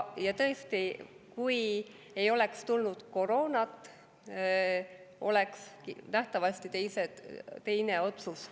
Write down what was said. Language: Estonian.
Ja tõesti, kui ei oleks tulnud koroonat, oleks nähtavasti tulnud teine otsus.